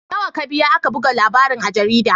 Nawa ka biya aka buga labarin a jarida?